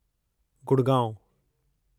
Gurgaon